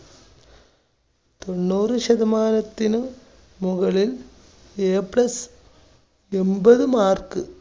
തൊണ്ണൂറ് ശതമാനത്തിന് മുകളിൽ A plus എൺപത് mark